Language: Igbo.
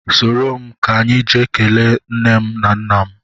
Soro m ka anyị jee kelee nne m na nna m